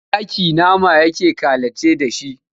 Zaki nama yake kalaci da shi.